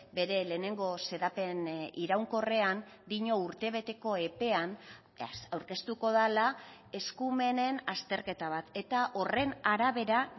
bere lehenengo xedapen iraunkorrean dio urtebeteko epean aurkeztuko dela eskumenen azterketa bat eta horren arabera